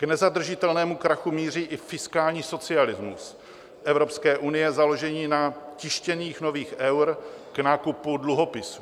K nezadržitelnému krachu míří i fiskální socialismus Evropské unie, založený na tištění nových eur k nákupu dluhopisů.